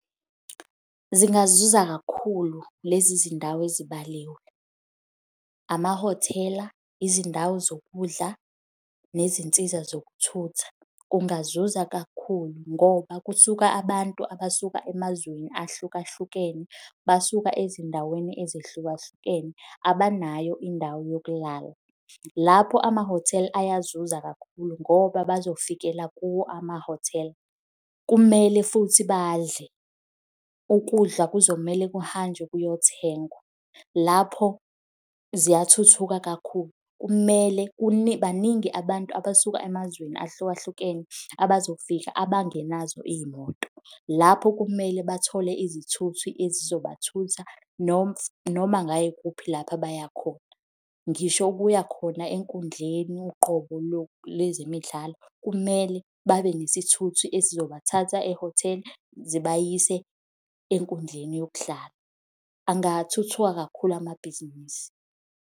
Zingazuza kakhulu lezi zindawo ezibaliwe. Amahhotela, izindawo zokudla nezinsiza zokuthutha kungazuza kakhulu ngoba kusuka abantu abasuka emazweni ahlukahlukene, basuka ezindaweni ezehlukahlukene, abanayo indawo yokulala. Lapho ama-hotel ayazuza kakhulu ngoba bazofikela kuwo ama-hotel. Kumele futhi badle, ukudla kuzomele kuhanjwe kuyothengwa. Lapho ziyathuthuka kakhulu. Kumele, baningi abantu abasuka emazweni ahlukahlukene abazofika abangenazo iy'moto, lapho kumele bathole izithuthi ezizobathutha noma ngayikuphi lapha abayakhona. Ngisho ukuya khona enkundleni uqobo lezemidlalo, kumele babe nesithuthi esizobathatha e-hotel zibayise enkundleni yokudlala. Angathuthuka kakhulu amabhizinisi.